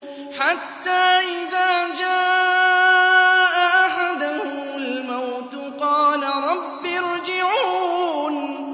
حَتَّىٰ إِذَا جَاءَ أَحَدَهُمُ الْمَوْتُ قَالَ رَبِّ ارْجِعُونِ